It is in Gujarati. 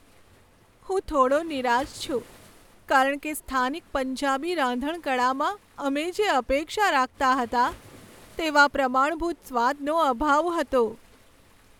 હું થોડો નિરાશ છું કારણ કે સ્થાનિક પંજાબી રાંધણકળામાં અમે જે અપેક્ષા રાખતા હતા તેવા પ્રમાણભૂત સ્વાદનો અભાવ હતો.